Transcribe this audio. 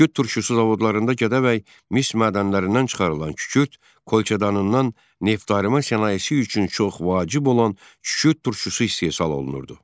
Kükürd turşusu zavodlarında Gədəbəy mis mədənlərindən çıxarılan kükürd kolçedanından neftarıma sənayesi üçün çox vacib olan kükürd turşusu istehsal olunurdu.